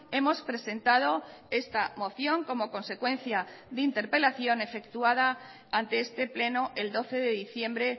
hemos presentado esta moción como consecuencia de interpelación efectuada ante este pleno el doce de diciembre